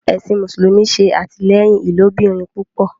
Ẹsìn mùsùlùmí ṣe atilẹyin ilobirin púpọ